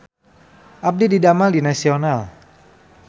Abdi didamel di Nasional